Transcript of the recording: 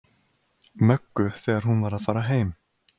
Möggu þegar hún var að fara heim.